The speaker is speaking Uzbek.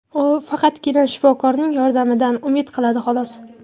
U faqatgina shifokorning yordamidan umid qiladi, xolos.